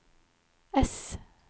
S